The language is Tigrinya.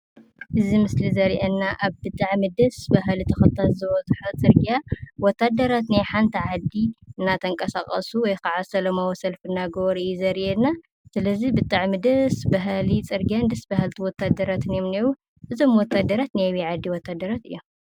እዚ ምስሊ ዘርኤና ኣብ ብጣዕሚ ደስ በሃሊ ተኽልታት ዝበዝሖ ፅርግያ ወታደራት ናይ ሓንቲ ዓዲ እናተንቀሳቐሱ ወይ ኸዓ ሰላማዊ ሰልፊ እናገበሩ እዩ ዘርኤና፡፡ ስለዚ ብጣዕሚ ደስ በሃሊ ፅርግያን ደስ በሃልቲ ወታሃደራትን እዮም እኔዉ፡፡ እዞም ወታደራት ናይ ኣበይ ዓዲ ወታደራት እዮም?